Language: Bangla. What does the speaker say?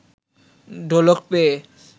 ঢোলক পেয়ে